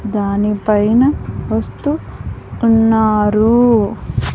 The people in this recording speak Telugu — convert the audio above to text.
దానిపైన వస్తు ఉన్నారు.